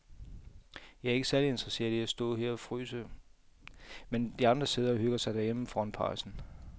Jeg er ikke særlig interesseret i at stå og fryse her, mens de andre sidder og hygger sig derhjemme foran pejsen.